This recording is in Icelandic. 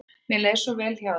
Mér leið svo vel hjá þér.